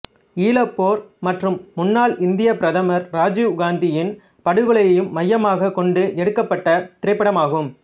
ஈழப்போர் மற்றும் முன்னாள் இந்தியப் பிரதமர் ராஜீவ் காந்தியின் படுகொலையையும் மையமாகக் கொண்டு எடுக்கப்பட்ட திரைப்படமாகும்